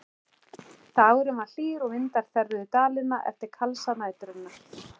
Dagurinn var hlýr og vindar þerruðu Dalina eftir kalsa næturinnar.